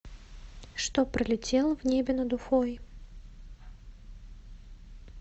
что пролетело в небе над уфой